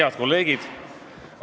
Head kolleegid!